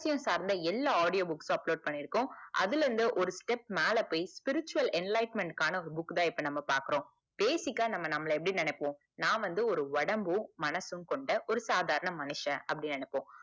ல்சார்ந்த எல்லா audio books உம் upload பன்னிருக்கோம் அதுல இருந்து ஒரு step மேல போய் virtual end life ment க்கு ஆன ஒரு book தான் பாக்குறோம் basic ஆஹ் நம்மள நம்ம எப்புடி நெனைப்போம் நா வந்து ஒரு ஒடம்பும் மனசும் கொண்ட சாதரண மனுசன் அப்டின்னு நெனைப்போம்